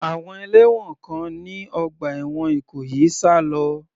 Àwọn ẹlẹ́wọ̀n kan ní ọgbà ẹ̀wọ̀n Ìkòyí sá lọ.